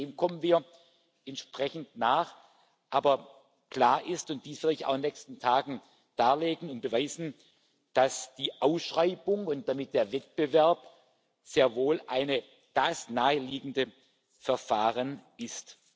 Dem kommen wir entsprechend nach, aber klar ist und dies will ich auch in den nächsten Tagen darlegen und beweisen dass die Ausschreibung und damit der Wettbewerb sehr wohl das naheliegende Verfahren